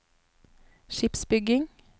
skipsbygging